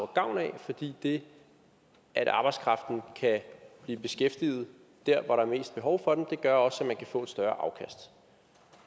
gavn af fordi det at arbejdskraften kan blive beskæftiget der hvor der er mest behov for den også gør at man kan få et større afkast